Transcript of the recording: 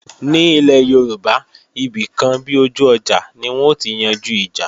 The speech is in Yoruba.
Ní ilé Yorùbá, ibìkan bi ojú ọjà ni wọn ó ti yanjú ìjà